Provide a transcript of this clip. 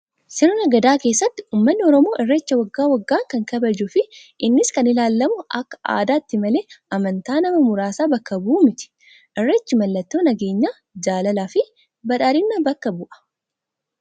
Sirna gadaa keessatti uummanni oromoo irreecha Wagga waggaan kan kabajuu fi innis kan ilaalamuu akka aadaatti malee amantaa nama muraasa bakka bu'u miti. Irreechi mallattoo nageenyaa jaalalaa fi badhaadhinaa bakka bu'a